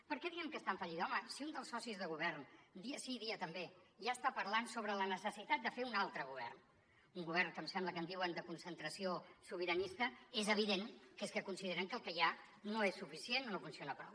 per què diem que està en fallida home si un dels socis de govern dia sí i dia també ja està parlant sobre la necessitat de fer un altre govern un govern que em sembla que en diuen de concentració sobiranista és evident que és que consideren que el que hi ha no és suficient o no funciona prou